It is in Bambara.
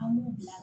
An b'u bila